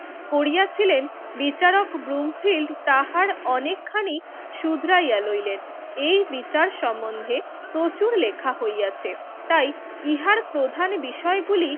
করিয়াছিলেন, বিচারক ব্রুমফিল্ড তাহার অনেকখানি শুধরাইয়া লইলেন। এই বিচার সম্বন্ধে প্রচুর লেখা হইয়াছে। তাই ইহার প্রধান বিষয়গুলি